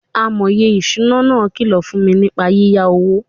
Amòye ìṣúná náà kìlọ̀ fún mi nípa yíyá owó.